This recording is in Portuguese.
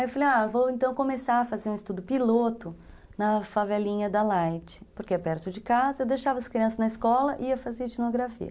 Aí eu falei, ah, vou então começar a fazer um estudo piloto na favelinha da Light, porque é perto de casa, eu deixava as crianças na escola e ia fazer etnografia.